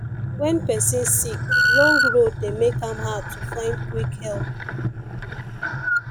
when person sick long road dey make am hard to find quick help